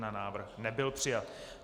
Návrh nebyl přijat.